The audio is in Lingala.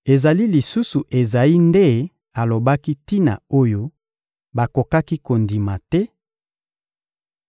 Ezali lisusu Ezayi nde alobaki tina oyo bakokaki kondima te: